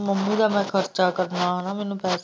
ਮਾਮੂ ਦਾ ਮੈਂ ਖ਼ਰਚਾ ਕਰਨਾ ਹੈ ਨਾ ਮੈਨੂੰ।